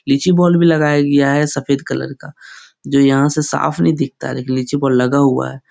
लीची बॉल भी लगाया गया है। सफ़ेद कलर का जो यहाँ से साफ़ नहीं दिखता है लेकिन लीची बॉल लगा हुआ है ।